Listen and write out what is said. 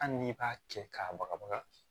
Hali n'i b'a cɛ k'a baga baga